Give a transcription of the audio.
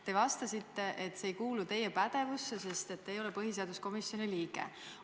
Te vastasite, et see ei kuulu teie pädevusse, sest te ei ole põhiseaduskomisjoni liige.